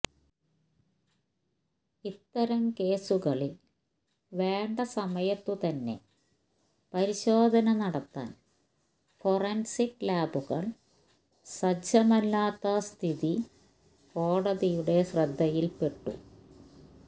ഇത്തരം കേസുകളിൽ വേണ്ട സമയത്തുതന്നെ പരിശോധന നടത്താൻ ഫൊറൻസിക് ലാബുകൾ സജ്ജമല്ലാത്ത സ്ഥിതി കോടതിയുടെ ശ്രദ്ധയിൽപ്പെട്ടു